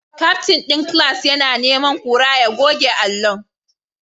Captain din class yana neman kura ya goge allunan